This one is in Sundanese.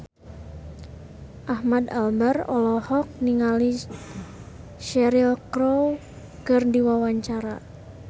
Ahmad Albar olohok ningali Cheryl Crow keur diwawancara